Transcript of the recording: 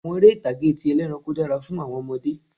Àwọn eré ìtàgé ti ẹlẹ́ranko dára fún àwọn ọmọdé